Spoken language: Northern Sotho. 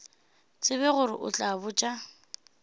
tsebe gore o tla botša